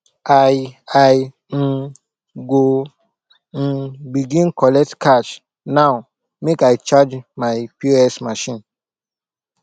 i i um go um begin collect cash now make i charge my pos machine